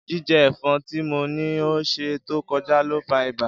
Jijẹ ẹfọn ti mo ni ni ọsẹ to kọja lo fa iba.